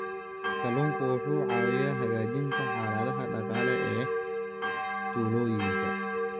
Kalluunku wuxuu caawiyaa hagaajinta xaaladaha dhaqaale ee tuulooyinka.